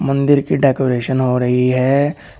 मंदिर की डेकोरेशन हो रही है।